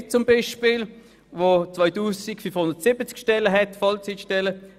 2570 Vollzeitstellen gehören zur Polizei.